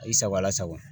I sago la sago